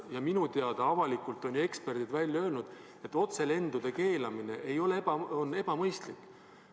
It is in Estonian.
Ja minu teada on eksperdid ju avalikult välja öelnud, et otselendude keelamine on ebamõistlik.